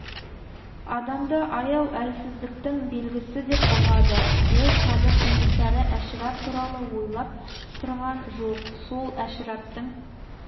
адамды аяу әлсіздіктің белгісі деп ұғады ол қазір кенесары әшірап туралы ойлап тұрған жоқ сол әшіраптың